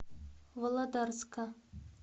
володарска